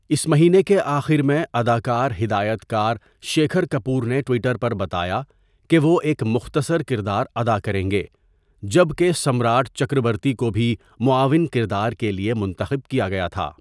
اس مہینے کے آخر میں، اداکار ہدایتکار شیکھر کپور نے ٹویٹر پر بتایا کہ وہ ایک مختصر کردار ادا کریں گے، جبکہ سمراٹ چکربرتی کو بھی معاون کردار کے لیے منتخب کیا گیا تھا.